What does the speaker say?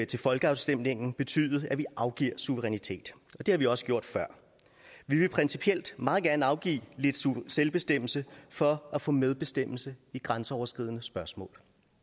til folkeafstemningen betyde at vi afgiver suverænitet og det har vi også gjort før vi vil principielt meget gerne afgive lidt selvbestemmelse for at få medbestemmelse i grænseoverskridende spørgsmål